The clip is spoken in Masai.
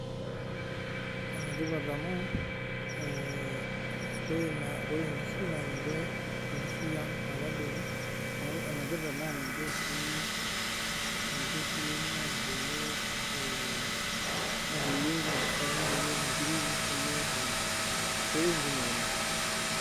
Enetipat amu ore enkishu naa ninye enkishui ang emetabaiki naa enetipat naa ninche sii naisho iyiok mpisai nishoo nkiri nishoo ntokitin kumok oleng